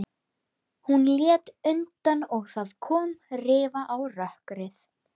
Hún lét undan og það kom rifa á rökkrið.